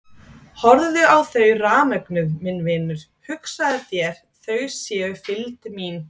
Horfðu á þau rafmögnuð minn vinur, hugsaðu þér þau séu fylgd mín.